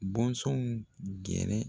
Bɔnsɔnw gɛrɛ